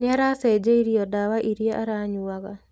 Nĩ aracĩnjĩirio ndawa iria aranyuaga.